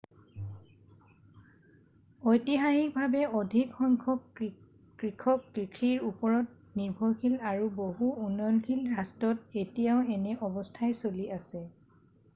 ঐতিহাসিকভাৱে অধিক সংখ্যক কৃষক কষিৰ ওপৰত নিৰ্ভৰশীল আৰু বহু উন্নয়নশীল ৰাষ্ট্ৰত এতিয়াও এনে অৱস্থাই চলি আছে